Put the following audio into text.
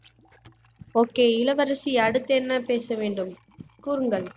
okay இளவரசி அடுத்து என்ன பேச வேண்டும் கூறுங்கள்